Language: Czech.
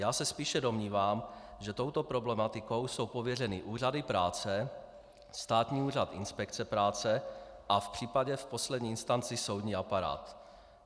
Já se spíše domnívám, že touto problematikou jsou pověřeny úřady práce, Státní úřad inspekce práce a v případě v poslední instanci soudní aparát.